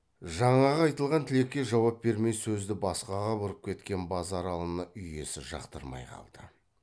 жаңағы айтылған тілекке жауап бермей сөзді басқаға бұрып кеткен базаралыны үй иесі жақтырмай қалды